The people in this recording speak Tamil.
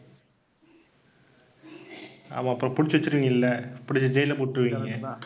ஆமாம். அப்புறம் புடிச்சு வெச்சுருவீங்கள்ல, புடிச்சு அப்புறம் ஜெயில்ல போட்டிருவீங்கல்லே?